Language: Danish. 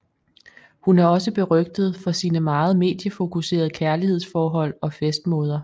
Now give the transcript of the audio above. Hun er også berygtet for sine meget mediefokuserede kærlighedsforhold og festmåder